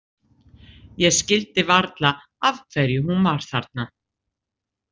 Ég skildi varla af hverju hún var þarna.